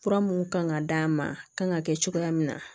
Fura mun kan ka d'a ma a kan ka kɛ cogoya min na